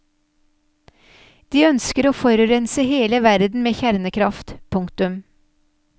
De ønsker å forurense hele verden med kjernekraft. punktum